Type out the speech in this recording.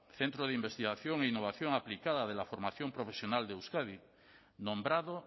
centro de investigación e innovación aplicada de la formación profesional de euskadi nombrado